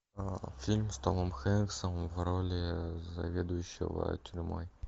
фильм с томом хэнксом в роли заведующего тюрьмой